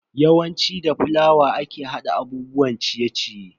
Yawanci da fulawa ake hada abubuwan ciye-ciye.